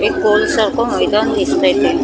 एक कोन सारखं मैदान दिसतंय ते --